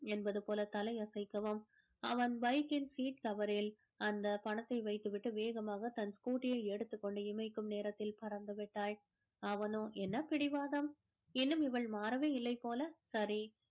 என்பது போல தலையை அசைக்கவும் அவன் bike கின் seat cover ல் அந்த பணத்தை வைத்து விட்டு வேகமாக தன் scooty யை எடுத்துக் கொண்டு இமைக்கும் நேரத்தில் பறந்து விட்டாள்